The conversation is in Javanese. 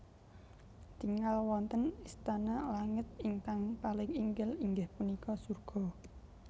Tingal wonten istana langit ingkang paling inggil inggih punika surga